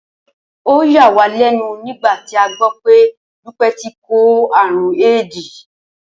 Ó yà wá lé̩nu nígbà tí a gbó̩ pé̩ Dúpé̩ ti kó àrùn éédì